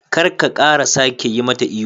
kar ka kara sake yimata ihu.